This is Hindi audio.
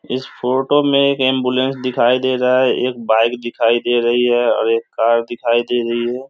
इस फोटो में एक एंबुलेंस दिखाई दे रहा है एक बाइक दिखाई दे रही है और एक कार दिखाई दे रही है।